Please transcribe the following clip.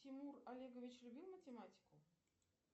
тимур олегович любил математику